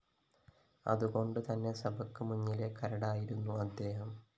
അതുകൊണ്ടുതന്നെ സഭയ്ക്ക് മുന്നിലെ കരടായിരുന്നു അദ്ദേഹം